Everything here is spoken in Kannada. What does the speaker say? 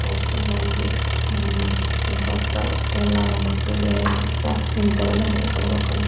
ಓಟ್ಸ್ ಇಂದ ಅಂಗಡಿ ಉಹ್ ಇಂತವಕ ಎಲ್ಲ ಮಕ್ಕಳಿಗೆ ಜಾಸ್ತಿ ಇನ್ತವೆಲ್ಲ ಹೇಳ್ಕೊಡ್ಬೇಕು.